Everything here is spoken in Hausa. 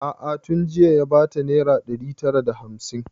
A'a tun jiya ya bata naira ɗari tara da hamsin